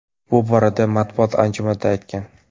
Bu borada u matbuot anjumanida aytgan.